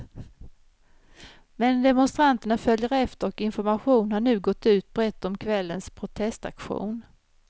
Men demonstranterna följer efter och information har nu gått ut brett om kvällens protestaktion.